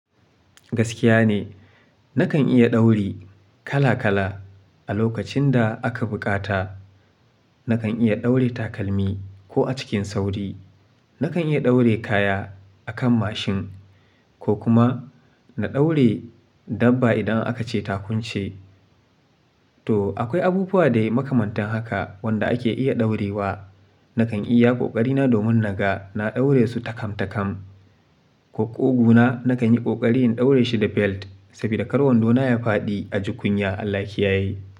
Gaskiya ne, nakan iya ɗauri kala kala. A lokacin da aka bukata, nakan iya ɗaure takalmi ko a cikin sauri. Nakan iya ɗaure kaya a kan mashin ko kuma na ɗaure dabba idan aka ce ta kunce. To akwai abubuwa dai makamantan haka wanda ake iya ɗaure wa. Nakan iya ƙoƙari na domin naga na ɗaure su takam-takam, ko ƙugu na nakan yi ƙoƙari in ɗaure shi da belt saboda kar wando na ya faɗi a ji kunya. Allah ki yaye.